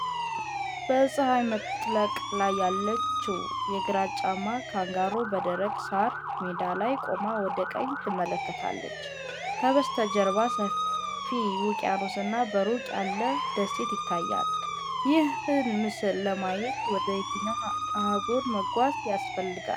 በፀሐይ መጥለቅ ላይ ያለችው ግራጫማ ካንጋሮ በደረቅ ሳር ሜዳ ላይ ቆማ ወደ ቀኝ ትመለከታለች። ከበስተጀርባ ሰፊ ውቅያኖስና በሩቅ ያለ ደሴት ይታያል። ይህን ምስል ለማየት ወደየትኛው አህጉር መጓዝ ያስፈልጋል?